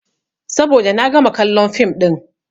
Saboda na gama kallon fim ɗin.